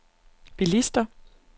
bilister